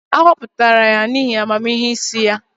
A họpụtara ya n'ihi amamihe isi ya.